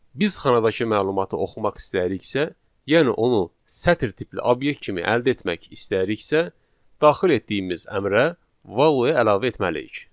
Biz xanadakı məlumatı oxumaq istəyiriksə, yəni onu sətr tipli obyekt kimi əldə etmək istəyiriksə, daxil etdiyimiz əmrə value əlavə etməliyik.